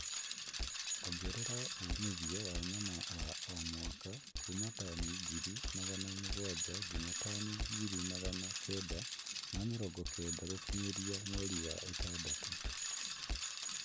Ongerera umithio wa nyama wa o mwaka kuuma tani ngiri magana mũgwanja nginya tani ngiri Magana kenda ma mĩrongo kenda gũkinyĩria mweri wa ĩtandatũ